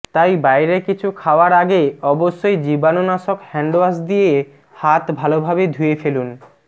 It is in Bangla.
তাই বাইরে কিছু খাওয়ার আগে অবশ্যই জীবাণুনাশক হ্যান্ডওয়াশ দিয়ে হাত ভালোভাবে ধুয়ে ফেলুন